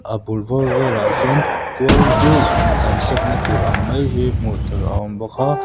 a bul bawr vel ah hian kual deuh in tlan siakna tur ang mai hi hmuh tur a awm bawk a.